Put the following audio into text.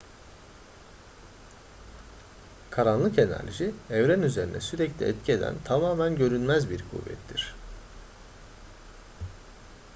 karanlık enerji evren üzerine sürekli etki eden tamamen görünmez bir kuvvettir